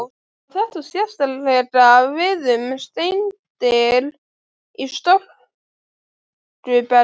Á þetta sérstaklega við um steindir í storkubergi.